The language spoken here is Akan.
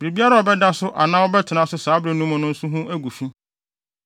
“ ‘Biribiara a ɔbɛda so anaa ɔbɛtena so saa bere no mu no nso ho agu fi.